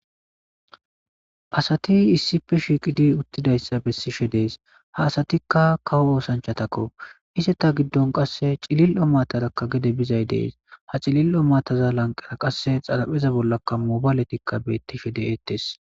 Asati issipe shiiqidi uttidayssa bessishe dees ha asatikka kawo oosanchatakko ise ta giddon qasse cilil'o matarakka gede bizay dees ha cilil'o mataza lanqera qasse xalapheza bollakka mobaaletikka bettishe de'eettes.